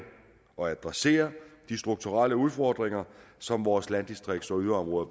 og adresserer de strukturelle udfordringer som vores landdistrikter og yderområder